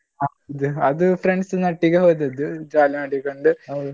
ಹೌದು ಅದು friends ನೊಟ್ಟಿಗೆ ಹೋದದ್ದು jolly ಮಾಡಿಕೊಂಡು.